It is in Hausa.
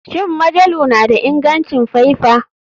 Shin majalu na da ingancin faifa?